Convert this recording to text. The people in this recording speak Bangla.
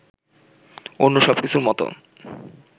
অন্য সবকিছুর মতো